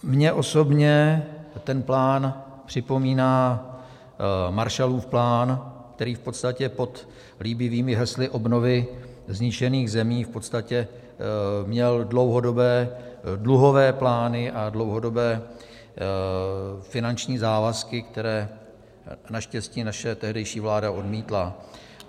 Mně osobně ten plán připomíná Marshallův plán, který v podstatě pod líbivými hesly obnovy zničených zemí v podstatě měl dlouhodobé dluhové plány a dlouhodobé finanční závazky, které naštěstí naše tehdejší vláda odmítla.